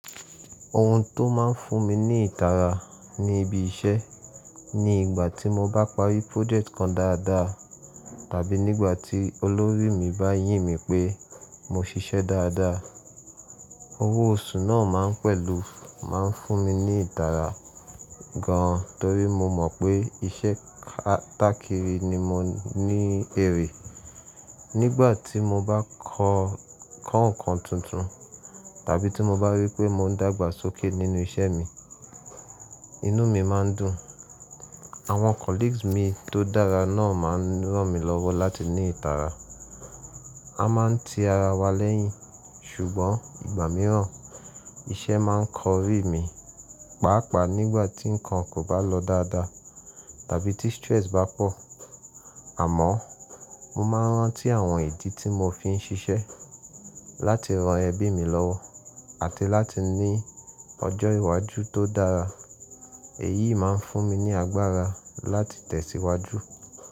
Ohun tó máa ń fún mi ní ìtara ní ibi iṣẹ́ ni ìgbà tí mo bá parí project kan dáadáa tàbí nígbà tí olórí mi bá yìn mí pé mo ṣiṣẹ́ dáadáa. Owó oṣù náà pẹ̀lú máa ń fún mi ní ìtara gan torí mo mọ̀ pé iṣẹ́ kátákìrí ni mo ní èrè. Nígbà tí mo bá kọ ǹkan tuntun tàbí tí mo bá rí pé mò ń dàgbàsókè nínú iṣẹ́ mi, inú mi máa ń dùn. Àwọn colleagues mi tó dára náà máa ń ràn mí lọ́wọ́ láti ní ìtara. A máa ń ti ara wa lẹ́yìn, ṣùgbọ́n ìgbà mìíràn iṣẹ́ máa ń kọrí mi, pàápàá nígbà tí ǹkan kò bá lọ dáadáa tàbí tí stress bá pọ̀. Àmọ́ mo máa ń rántí àwọn ìdí tí mo fi ń ṣiṣẹ́ láti ran ẹbí mi lọ́wọ́ àti láti ní ọjọ́ iwájú tó dára. Èyí máa ń fún mi ní agbára láti tẹ̀síwájú.